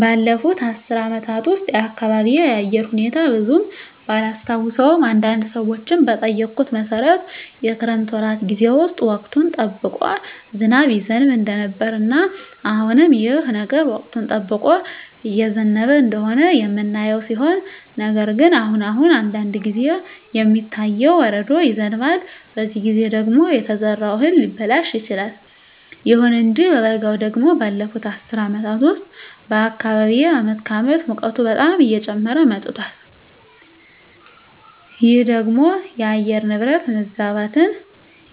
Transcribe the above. ባለፉት አስር አመታት ውስጥ የአካባቢየ የአየር ሁኔታ ብዙም ባላስታውሰውም አንዳንድ ሰዎችን በጠየኩት መሠረት የክረምት ወራት ጌዜ ውስጥ ወቅቱን ጠብቆ ዝናብ ይዘንብ እንደነበረ እና አሁንም ይህ ነገር ወቅቱን ጠብቆ እየዘነበ እንደሆነ የምናየው ሲሆን ነገር ግን አሁን አሁን አንዳንድ ጊዜ የሚታየው በረዶ ይዘንባል በዚህ ጊዜ ደግሞ የተዘራው እህል ሊበላሽ ይችላል። ይሁን እንጂ በበጋው ደግሞ ባለፋት አስር አመታት ውስጥ በአካባቢየ አመት ከአመት ሙቀቱ በጣም እየጨመረ መጧል ይህ ደግሞ የአየር ንብረት መዛባትን